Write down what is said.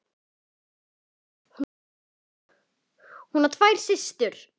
Hún á tvær systur.